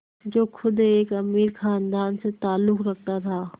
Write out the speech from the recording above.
जो ख़ुद एक अमीर ख़ानदान से ताल्लुक़ रखता था